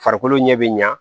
Farikolo ɲɛ bi ɲa